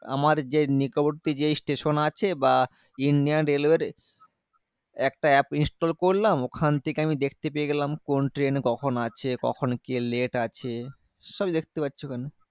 আমার যে নিকটবর্তী যে station আছে, বা Indian railway র একটা app install করলাম। ওখান থেকে আমি দেখতে পেয়ে গেলাম, কোন ট্রেন কখন আছে? কখন কে late আছে? সবই দেখতে পারছি ওখানে।